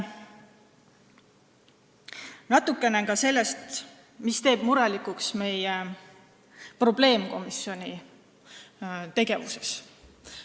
Natukene ka sellest, mis teeb murelikuks meie probleemkomisjoni tegevuses.